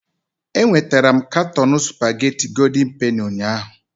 Enwetara m katọn spagéti Gòldin Penì ụnyahụ